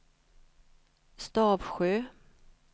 Stavsjö